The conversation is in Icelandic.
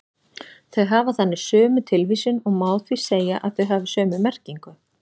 Þau hafa þannig sömu tilvísun og má því segja að þau hafi sömu merkingu.